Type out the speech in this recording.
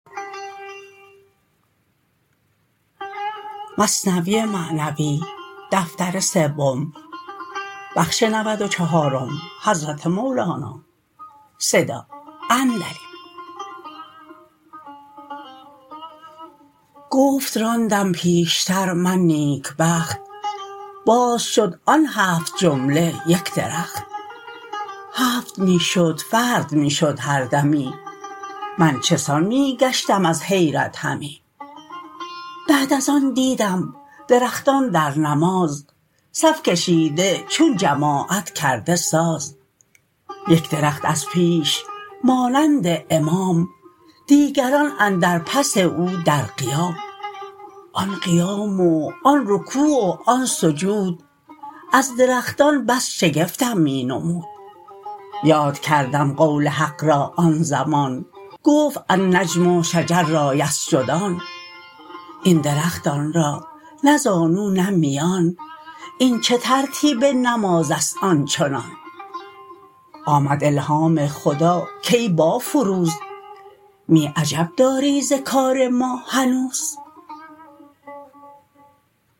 گفت راندم پیشتر من نیکبخت باز شد آن هفت جمله یک درخت هفت می شد فرد می شد هر دمی من چه سان می گشتم از حیرت همی بعد از آن دیدم درختان در نماز صف کشیده چون جماعت کرده ساز یک درخت از پیش مانند امام دیگران اندر پس او در قیام آن قیام و آن رکوع و آن سجود از درختان بس شگفتم می نمود یاد کردم قول حق را آن زمان گفت النجم و شجر را یسجدان این درختان را نه زانو نه میان این چه ترتیب نمازست آنچنان آمد الهام خدا کای بافروز می عجب داری ز کار ما هنوز